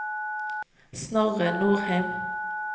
Snorre Nordheim